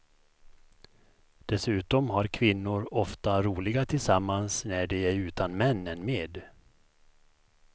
Dessutom har kvinnor ofta roligare tillsammans när de är utan män än med.